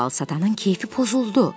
Albalı satanın kefi pozuldu.